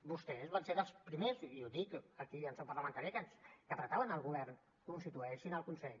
vostès van ser dels primers i ho dic aquí en seu parlamentària que apretaven al govern constitueixin el consell